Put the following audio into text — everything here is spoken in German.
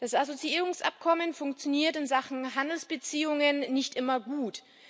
Das Assoziierungsabkommen funktioniert in Sachen Handelsbeziehungen nicht immer gut.